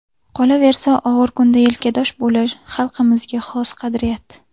Qolaversa, og‘ir kunda yelkadosh bo‘lish xalqimizga xos qadriyat.